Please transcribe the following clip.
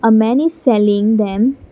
a man is selling them--